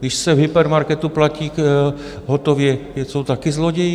Když se v hypermarketu platí hotově, jsou taky zloději?